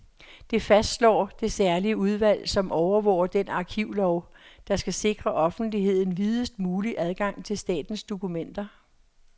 Det fastslår det særlige udvalg, som overvåger den arkivlov, der skal sikre offentligheden videst mulig adgang til statens dokumenter.